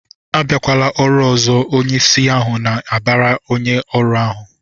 "Abịakwala ọrụ ọzọ!" Onyeisi ahụ na-abara onye ọrụ ahụ